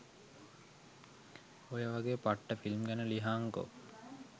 ඔය වගේ පට්ට ෆිල්ම් ගැන ලියහන්කො